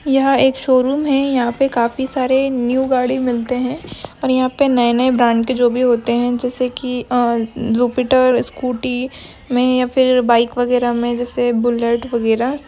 यहां पर एक शोरूम है। यहां पर काफी सारे न्यू गाड़ी मिलते हैं। और यहां पर नए-नए ब्रांड के जो भी होते हैं। जैसे कि अम्म जुपिटर स्कूटी में फिर या बाइक वगैरह में जैसे बुलेट वगैरह--